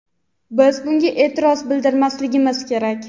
biz bunga e’tiroz bildirmasligimiz kerak.